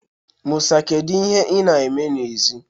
Musa, kedu ihe ị na-eme n'èzí?